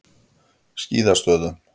Skíðastöðum